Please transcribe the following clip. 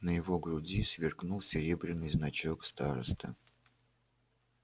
на его груди сверкнул серебряный значок старосты